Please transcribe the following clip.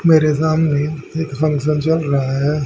मेरे सामने एक फंक्शन चल रहा है।